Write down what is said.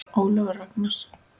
Ólafur Ragnar.